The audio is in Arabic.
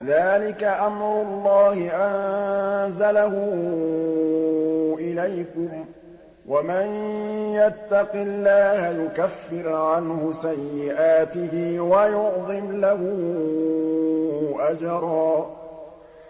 ذَٰلِكَ أَمْرُ اللَّهِ أَنزَلَهُ إِلَيْكُمْ ۚ وَمَن يَتَّقِ اللَّهَ يُكَفِّرْ عَنْهُ سَيِّئَاتِهِ وَيُعْظِمْ لَهُ أَجْرًا